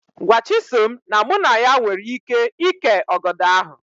Gwa Chisom na mụ na ya nwere íké ìkè ọgọdọ ahụ